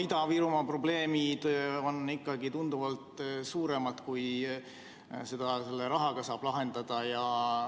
Ida-Virumaa probleemid on tunduvalt suuremad, kui selle rahaga saab lahendada.